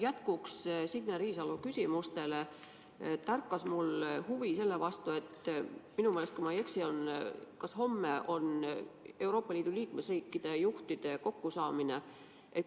Jätkuks Signe Riisalo küsimustele tärkas mul huvi selle vastu, et minu meelest, kui ma ei eksi, on homme Euroopa Liidu liikmesriikide juhtide kokkusaamine.